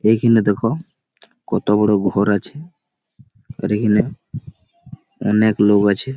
এখানে দেখো কত বড়ো ঘর আছে। আর এখানে অনেক লোক আছে।